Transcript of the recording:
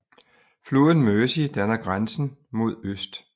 Floden Mersey danner grænsen mod øst